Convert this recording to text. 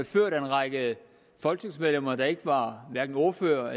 ført af en række folketingsmedlemmer der ikke var ordførere og